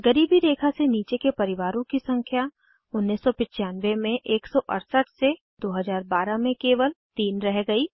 गरीबी रेखा से नीचे के परिवारों की संख्या 1995 में 168 से 2012 में केवल 3 रह गयी